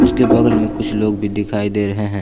उसके बगल में कुछ लोग भी दिखाई दे रहे हैं।